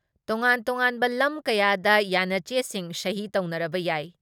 ꯇꯣꯉꯥꯟ ꯇꯣꯉꯥꯟꯕ ꯂꯝ ꯀꯌꯥꯗ ꯌꯥꯟꯅꯆꯦꯁꯤꯡ ꯁꯍꯤ ꯇꯧꯅꯔꯕ ꯌꯥꯏ ꯫